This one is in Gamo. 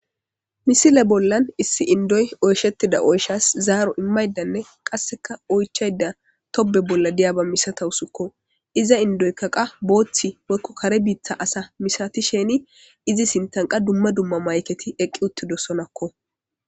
misile bollan issi indoy oyshettida oyshas zaaro immaydanne qasseka oychayda tobe bolla diyaba misata usikko iza indoyka qa booththi wokko kare biittha asa misatisheni izi sintanqa dumma dumma mayketi eqqi uttido sonakko